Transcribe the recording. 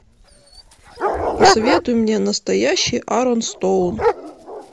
посоветуй мне настоящий арон стоун